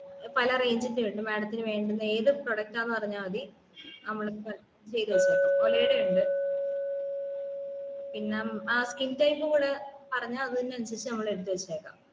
പല range ന്റേം ഉണ്ട് madam ത്തിനു വേണ്ടുന്ന ഏത് product ആണെന്ന് പറഞ്ഞാമതി നമ്മള് ചെയ്‌ത്‌ വച്ചേക്കാം ഒലേടെ ഇണ്ട് പിന്നെ skin type കൂടെ പറഞ്ഞാ അതിന് അന്സരിച് നമ്മൾ എടുത്തുവെക്കാം